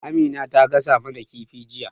Amins ta gasa mana kifi jiya.